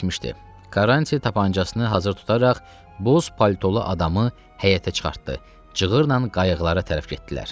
Karranti tapancasını hazır tutaraq boz paltolu adamı həyətə çıxartdı, cığırla qayıqlara tərəf getdilər.